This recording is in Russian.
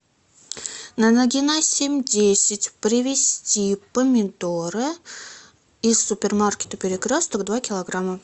на нагина семь десять привезти помидоры из супермаркета перекресток два килограмма